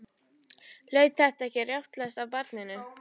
Hlaut þetta ekki að rjátlast af barninu?